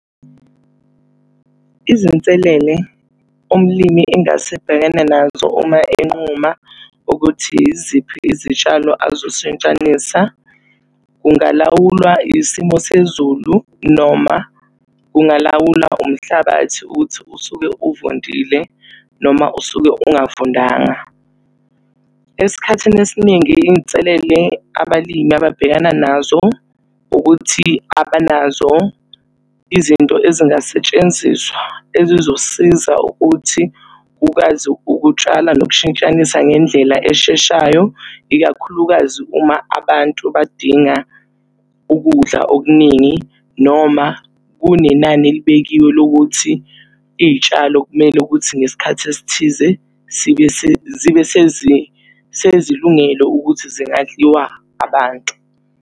Izinselele umlimi engase abhekane nazo uma enquma ukuthi yiziphi izitshalo azoshintshanisa, kungalawulwa isimo sezulu noma kungalawulwa umhlabathi ukuthi usuke uvundile noma usuke ungavundanga. Esikhathini esiningi iy'nselele abalimi ababhekana nazo, ukuthi abanazo izinto ezingasetshenziswa ezizosiza ukuthi kukwazi ukutshala nokushintshanisa ngendlela esheshayo, ikakhulukazi uma abantu badinga ukudla okuningi. Noma kunenani elibekiwe lokuthi iy'tshalo kumele ukuthi ngesikhathi esithize sibe zibe sezilungile ukuthi zingadliwa abantu.